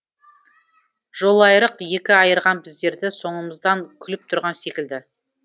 жолайырық екі айырған біздерді соңымыздан күліп тұрған секілді